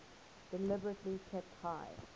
deliberately kept high